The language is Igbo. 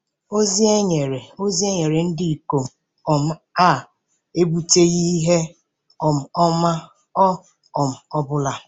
Ozi e nyere Ozi e nyere ndị ikom um a ebuteghị ihe um ọma ọ um bụla.